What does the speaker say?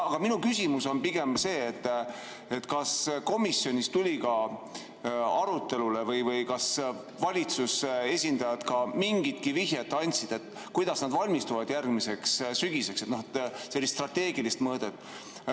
Aga minu küsimus on pigem see, et kas komisjonis tuli ka arutelule või kas valitsuse esindajad mingitki vihjet andsid, kuidas nad valmistuvad järgmiseks sügiseks, no sellist strateegilist mõõdet.